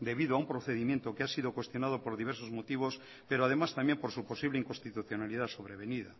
debido a un procedimiento que ha sido cuestionado por diversos motivos pero además también por su posible inconstitucionalidad sobrevenida